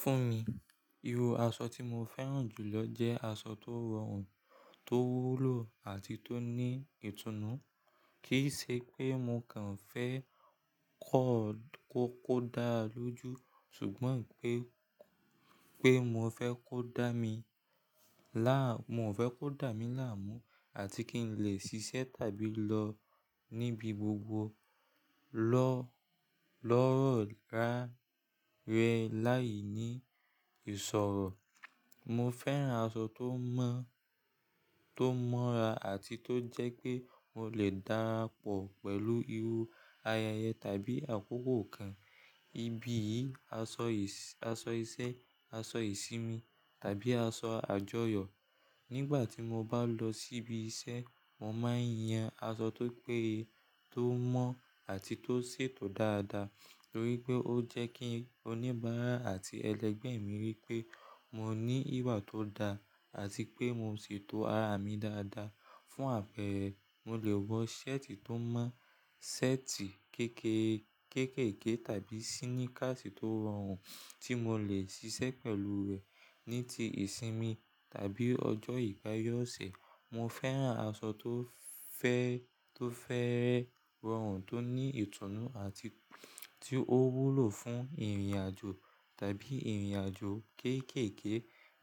Fún mi, irú aṣọ tí mo fẹ́ràn jù lọ jẹ́ aṣọ tó rọrùn, tó wúlò àti tó ní ìtùnú. Kì í ṣe pé mo kàn fẹ́ kó dáa lójú ṣùgbọ́n pé, pé mo fẹ́ kó dá mi láà, mo fẹ́ kó dá mi láàmú àti kí n lè ṣiṣẹ́ tàbí lọ níbi gbogbo lọ lọ́rọ̀ ráárẹ láì ní ìṣoro. Mo fẹ́ràn aṣọ tó mọ́, tó mọ́ra àti tó jẹ́ pé mo lè darapọ̀ pẹ̀lú irú ayẹyẹ tàbí àkókò kan, ibi yìí, aṣọ, aṣọ iṣẹ́, aṣọ ìsinmi tàbí aṣọ àjọyọ̀. Nígbà tí mo bá lọ síbi iṣẹ́, mo máa ń yan aṣọ tó pé, tó mọ́ àti tó ṣètò dáadáa torí pé ó jẹ́ kí oníbàárà àti ẹlẹgbẹ́ mi rí pé mo ní ìwà tó da àti pé mo ṣètò ara mi dáadáa. Fún àpẹẹrẹ, mo lè wọ ṣẹ́ẹ̀tì tó mọ́, ṣẹ́ẹ̀tì kéékèè, kéékèèké tàbí síníkàṣì tó rọrùn tí mo lè ṣiṣẹ́ pẹ̀lú rẹ̀ ní ti ìsinmi tàbí ọjọ́ ìgbáyọ̀ ọ̀sẹ̀. Mo fẹ́ràn aṣọ tó fẹ́ẹ́ rọrùn, tó ní ìtùnú àti tó wúlò fún ìrìnàjò tàbí ìrìnàjò kéékèèké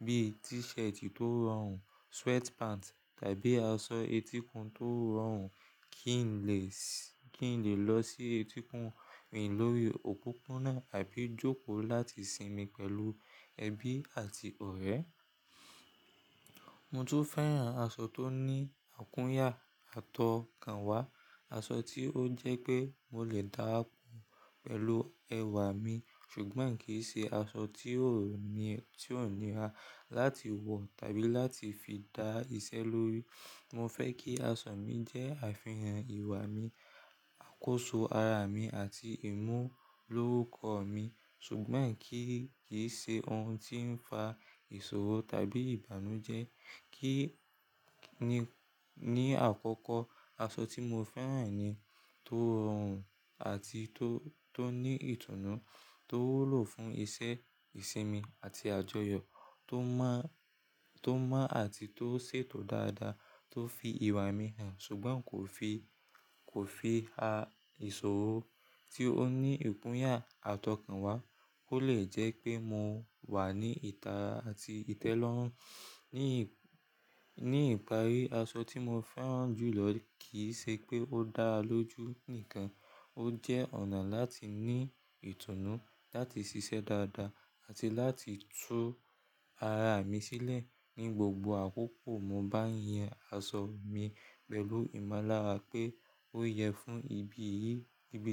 bíi tíṣẹ̀tì tó rọrùn, sweatpants tàbí aṣọ etíkun tó rọrùn kí n lè, kí n lè lọ sí etíkun, rìn lórí òpópónà tàbí jókòó láti sinmi pẹ̀lú ẹbí àti ọ̀rẹ́. Mo tún fẹ́ràn aṣọ tó ní àkúnyà àtọkànwá, aṣọ tí ó jẹ́ pé mo lè darapọ̀ pẹ̀lú ẹwà mi ṣùgbọ́n kì í ṣe aṣọ tí o ni ó níra láti wọ tàbí láti fi dá iṣẹ́ lórí. Mo fẹ́ kí aṣọ mi jẹ́ àfihàn ìwà mi, àkóso ara mi àti ìmú lórukọ mi ṣùgbọ́n kì í, kì í ṣe ohun tí ń fa ìṣòro tàbí ìbànújẹ́. Kí ni, ni akọkọ aṣọ tí mo fẹ́ràn ni tó rọrùn àti tó tó ní ìtùnú, tó wúlò fún iṣẹ́, ìsinmi àti àjọyọ̀, tó mọ tó mọ́ àti tó ṣètò dáadáa, tó fi ìwà mi hàn ṣùgbọ́n kò fi, kò fi ha ìṣòro, tí ó ní ikúnyà àtọkànwá, kó lè jẹ́ pé mo wà ní ìta àti ìtẹ́lọ́rùn. Ní ìparí, aṣọ tí mo fẹ́ràn jù lọ kì í ṣe pé ó dáa lójú nìkan, ó jẹ́ ọ̀nà láti ní ìtùnú, láti ṣiṣẹ́ dáadáa àti láti tú ara mi sílẹ̀ ní gbogbo àkókò. Mo bá ń yan aṣọ mi pẹ̀lú ìmọ̀lára pé ó yẹ fún ibí yìí fún ibi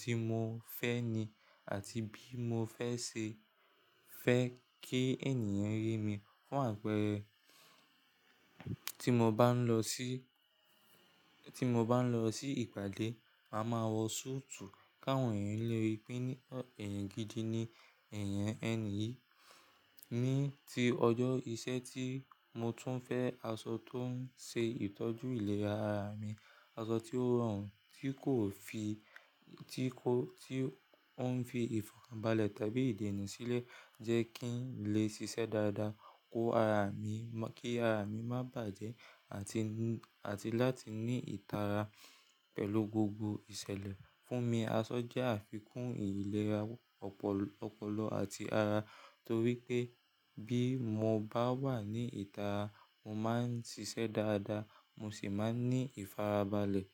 Ti mo fẹ́ ni àti bí mo fẹ́ ṣe fẹ́ kí ènìyàn rí mi fún àpẹẹrẹ, tí mo bá ń lọ sí, tí mo bá ń lọ sí ìpàdé, màá máa wọ súùtù káwọn ènìyàn lè rí pé ní ọ èèyàn gidi ni, èèyàn ẹni yì fún mi ní ìtara àti ìtẹ́lọ́rùn. Fún mi, aṣọ jẹ́ àfikún ìlera ọpọ, ọpọlọ àti ara torí pé bí mo bá wà ní ìta, mo máa ń ṣiṣẹ́ dáadáa, mo sì máa ń ní ìfarabalẹ̀.